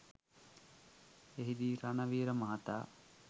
එහිදී රණවීර මහතා